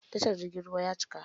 Tashar jirgin ruwan ya cika.